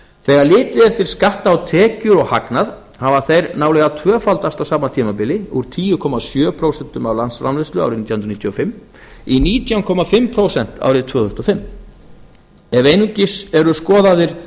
þegar litið er til skatta á tekjur og hagnað hafa þeir nálega tvöfaldast á sama tímabili úr tíu komma sjö prósent af landsframleiðslu árið nítján hundruð níutíu og fimm í nítján komma fimm prósent árið tvö þúsund og fimm ef einungis eru skoðaðir